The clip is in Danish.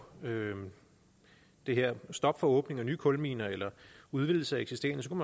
det her stop for åbning af nye kulminer eller udvidelse af eksisterende